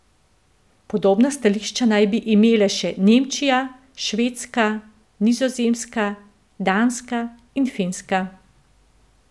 Podobna stališča naj bi imele še Nemčija, Švedska, Nizozemska, Danska in Finska.